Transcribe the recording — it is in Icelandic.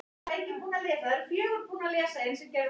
Heimir Már Pétursson: Heldurðu að þetta verði stjórn mikilla verka?